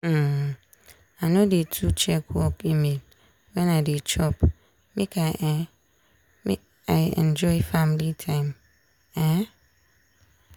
um i no dey too check work email wen i dey chop make um i enjoy family time. um